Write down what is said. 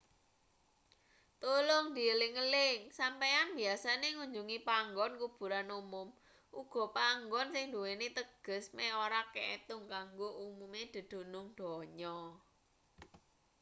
tulung dieling-eling sampeyan biyasane ngunjungi panggon kuburan umum uga panggon sing nduweni teges meh ora kaetung kanggo umume dedunung donya